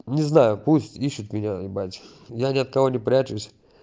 не знаю пусть ищут меня ебать я ни от кого не прячусь